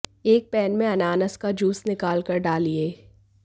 एक पैन में अनानास का जूस निकाल कर डालिये